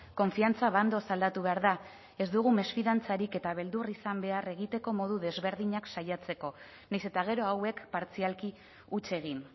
konfiantza bandoz aldatu behar da ez dugu mesfidantzarik eta beldur izan behar egiteko modu desberdinak saiatzeko nahiz eta gero hauek partzialki huts egin